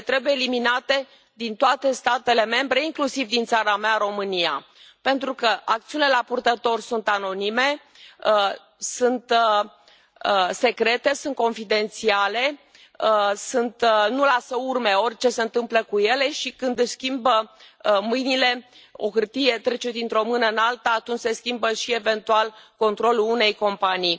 Ele trebuie eliminate din toate statele membre, inclusiv din țara mea, România, pentru că acțiunile la purtător sunt anonime, sunt secrete, sunt confidențiale, nu lasă urme, orice se întâmplă cu ele și, când își schimbă mâinile o hârtie trece dintr o mână în alta atunci se schimbă și, eventual, controlul unei companii.